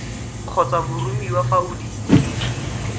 kgotsa boromiwa fa o dira